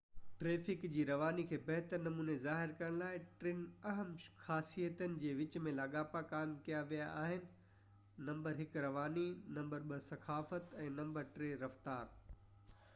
traffic جي رواني کي بهتر نموني ظاهر ڪرڻ لاءِ، ٽن اهم خاصيتن جي وچ ۾ لاڳاپا قائم ڪيا ويا آهن: 1 رواني، 2 ڪثافت، ۽ 3 رفتار